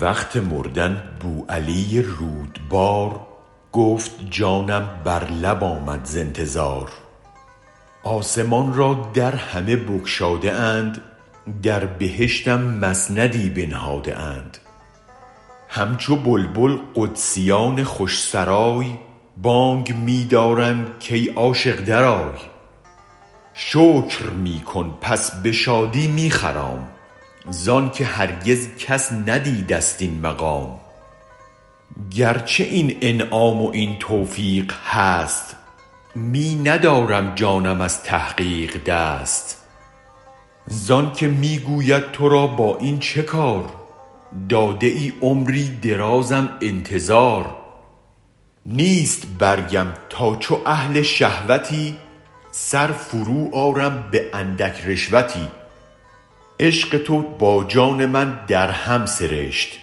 وقت مردن بوعلی رودبار گفت جانم بر لب آمد ز انتظار آسمان را در همه بگشاده اند در بهشتم مسندی بنهاده اند همچو بلبل قدسیان خوش سرای بانگ می دارند کای عاشق درآی شکر می کن پس به شادی می خرام زانک هرگز کس ندیدست این مقام گرچه این انعام و این توفیق هست می ندارد جانم از تحقیق دست زانک می گوید ترا با این چه کار داده ای عمری درازم انتظار نیست برگم تا چو اهل شهوتی سر فرو آرم به اندک رشوتی عشق تو با جان من در هم سرشت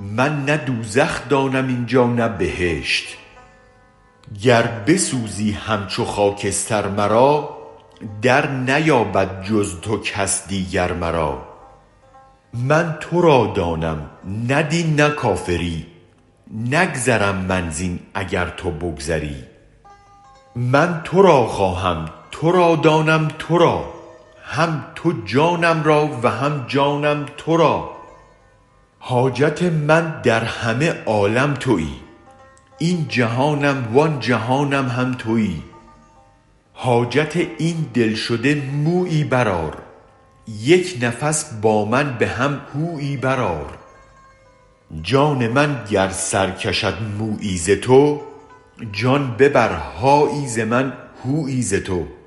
من نه دوزخ دانم اینجا نه بهشت گر بسوزی همچو خاکستر مرا در نیابد جز تو کس دیگر مرا من ترادانم نه دین نه کافری نگذرم من زین اگر تو بگذری من ترا خواهم ترا دانم ترا هم تو جانم را و هم جانم ترا حاجت من در همه عالم تویی این جهانم و آن جهانم هم تویی حاجت این دل شده مویی برآر یک نفس با من به هم هویی برآر جان من گر سرکشد مویی ز تو جان ببر هایی ز من هویی ز تو